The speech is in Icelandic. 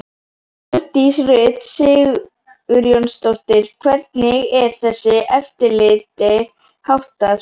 Hjördís Rut Sigurjónsdóttir: Hvernig er þessu eftirliti háttað?